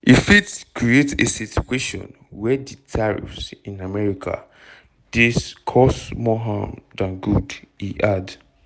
"e fit create a situation wia di tariffs in america dey cause more harm dan good" e add.